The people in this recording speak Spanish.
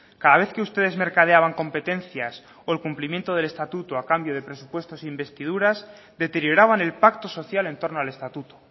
cada vez que ustedes mercadeaban competencias o el cumplimiento del estatuto a cambio de presupuestos investiduras deterioraban el pacto social en torno al estatuto